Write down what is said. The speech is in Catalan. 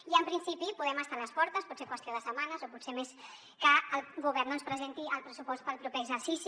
i en principi podem estar a les portes pot ser qüestió de setmanes o potser més que el govern presenti el pressupost per al proper exercici